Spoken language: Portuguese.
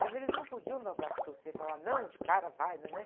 Mas eles não podiam dar o braço a torcer, falar, não, de cara, vai, não é, né?